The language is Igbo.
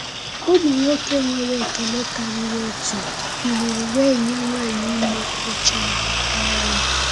Ụmụ nwoke nwere ekele karịrị otu biliri wee nye nwanyị ime oche ha. um